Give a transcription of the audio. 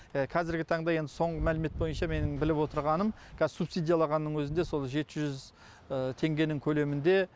қазіргі таңда енді соңғы мәлімет бойынша менің біліп отырғаным қазір субсидияланғанның өзінде сол жеті жүз теңгенің көлемінде